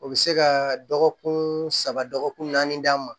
O bɛ se ka dɔgɔkun saba dɔgɔkun naani d'an ma